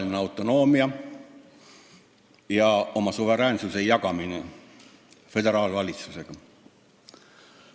Osaline autonoomia ja oma suveräänsuse jagamine föderaalvalitsusega.